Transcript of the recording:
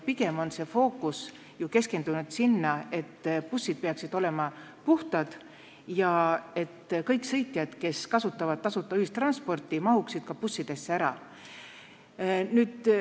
Pigem on fookus sellel, et bussid peaksid olema puhtad ja kõik sõitjad, kes kasutavad tasuta ühistransporti, peaksid ka bussidesse ära mahtuma.